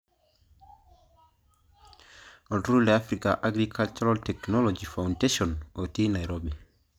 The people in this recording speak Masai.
Olturrurr le Africa Agricultural Technology Foundation otii Nairobi.